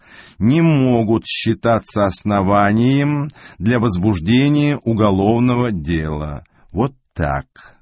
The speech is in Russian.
не могут считаться основанием для возбуждения уголовного дела вот так